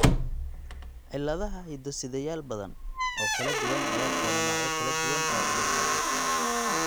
Cilladaha hiddo-sideyaal badan oo kala duwan ayaa keena noocyo kala duwan oo cudurkan ah.